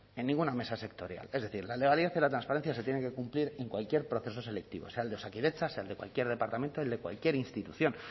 en ninguna mesa sectorial es decir la legalidad y la transparencia se tienen que cumplir en cualquier proceso selectivo sea el de osakidetza sea el de cualquier departamento el de cualquier institución